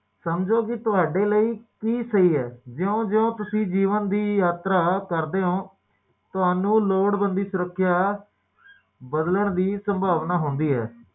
ਓਹਦੇ ਬਾਅਦ ਜਦੋ ਓਹਦੇ ਆਪਣੇ ਨਿਆਣੇ ਹੋ ਜਾਂਦੇ ਓਦੋ ਓਹਨਾ ਦੇ ਲਈ